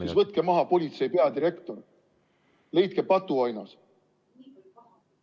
... siis võtke maha politseipeadirektor, leidke patuoinas.